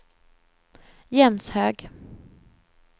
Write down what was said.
Jämshög